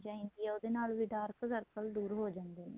ਚਾਹੀਦੀ ਏ ਉਹਦੇ ਨਾਲ ਵੀ dark circle ਦੂਰ ਹੋ ਜਾਂਦੇ ਨੇ